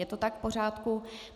Je to tak v pořádku?